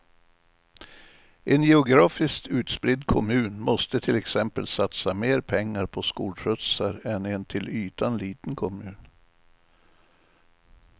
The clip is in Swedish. En geografiskt utspridd kommun måste till exempel satsa mer pengar på skolskjutsar än en till ytan liten kommun.